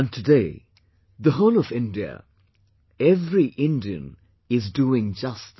Today the whole of India, every Indian is doing just that